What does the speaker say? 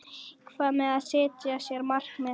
Hvað með að setja sér markmið?